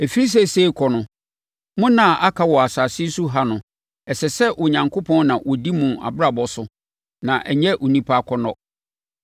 Ɛfiri seesei rekɔ no, mo nna a aka wɔ asase so ha no, ɛsɛ sɛ Onyankopɔn na ɔdi mo abrabɔ so na ɛnyɛ onipa akɔnnɔ.